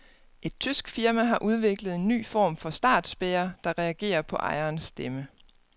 Et tysk firma har udviklet en ny form for startspærre, der reagerer på ejerens stemme.